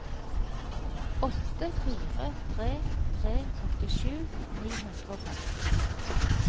åtte fire tre tre åttisju ni hundre og femti